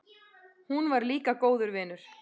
Hún var líka góður vinur.